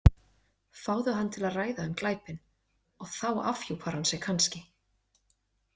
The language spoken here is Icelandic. Fá hann til að ræða um glæpinn og þá afhjúpar hann sig kannski.